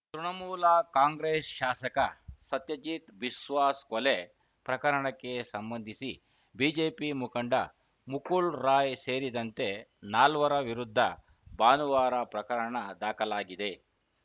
ತೃಣಮೂಲ ಕಾಂಗ್ರೆಸ್‌ ಶಾಸಕ ಸತ್ಯಜೀತ್‌ ಬಿಸ್ವಾಸ್‌ ಕೊಲೆ ಪ್ರಕರಣಕ್ಕೆ ಸಂಬಂಧಿಸಿ ಬಿಜೆಪಿ ಮುಖಂಡ ಮುಕುಲ್‌ ರಾಯ್‌ ಸೇರಿದಂತೆ ನಾಲ್ವರ ವಿರುದ್ಧ ಭಾನುವಾರ ಪ್ರಕರಣ ದಾಖಲಾಗಿದೆ